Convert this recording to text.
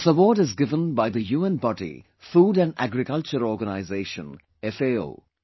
This award is given by the UN body 'Food & Agriculture Organisation' FAO